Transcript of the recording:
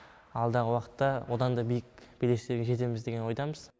алдағы уақытта одан да биік белестерге жетеміз деген ойдамыз